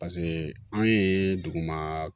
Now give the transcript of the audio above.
Paseke anw ye duguma